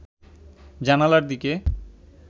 জানালার দিকে